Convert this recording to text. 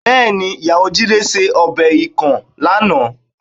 Bẹ́ẹ̀ni, ìyàwó Jídé ṣe ọbẹ̀ ikàn lánàá